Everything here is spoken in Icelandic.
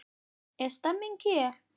Er stemming hér?